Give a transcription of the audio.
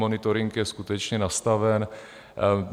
Monitoring je skutečně nastaven.